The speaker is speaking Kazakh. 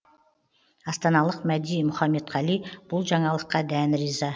астаналық мәди мұқамедқали бұл жаңалыққа дән риза